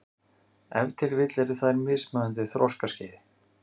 Ef til vill eru þær á mismunandi þroskaskeiði.